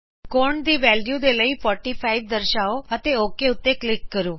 ਕੋਣ ਦੀ ਵੈਲਯੂ ਦੇ ਲਈ 45 ਦਰਸ਼ਾਓ ਅਤੇ ਓਕ ਕਲਿਕ ਕਰੋ